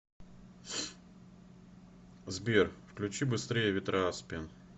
сбер включи быстрее ветра аспен